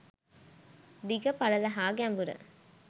දිග, පළල හා ගැඹුර,